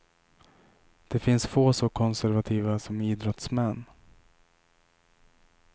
Det finns få så konservativa som idrottsmän.